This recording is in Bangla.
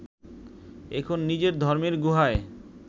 এখন নিজের ধর্মের গুহায়